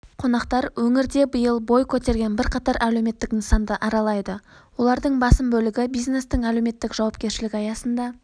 қонақтар өңірде биыл бой көтерген бірқатар әлеуметтік нысанды аралайды олардың басым бөлігі бизнестің әлеуметтік жауапкершілігі аясында